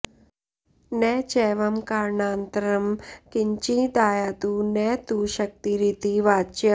न चैवं कारणान्तरं किंञ्चिदायातु न तु शक्तिरिति वाच्यम्